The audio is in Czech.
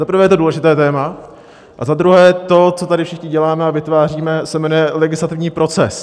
Za prvé, je to důležité téma, a za druhé, to, co tady všichni děláme a vytváříme, se jmenuje legislativní proces.